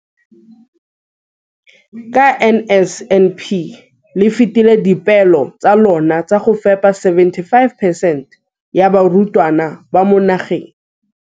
Ka NSNP le fetile dipeelo tsa lona tsa go fepa 75 percent ya barutwana ba mo nageng.